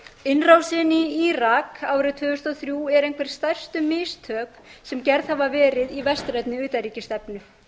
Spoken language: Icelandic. innrásin í írak árið tvö þúsund og þrjú er einhver stærstu mistök sem gerð hafa verið í vestrænni utanríkisstefnu